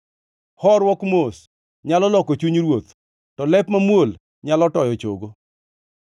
Horuok mos nyalo loko chuny ruoth, to lep mamuol nyalo toyo chogo.